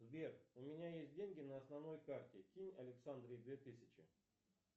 сбер у меня есть деньги на основной карте кинь александре две тысячи